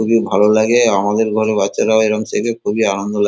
খুবই ভালো লাগে আমাদের ঘরে বাচ্চারাও এরম শেখে খুবই আনন্দ লাগ--